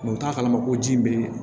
u t'a kalama ko ji bɛ ye